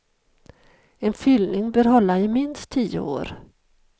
En fyllning bör hålla i minst tio år.